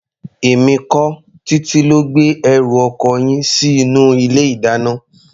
Èmi kọ́, Títí ló gbé ẹrù ọkọ yín sí inú ilé-ìdáná.